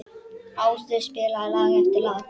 Áslaug spilaði lag eftir lag.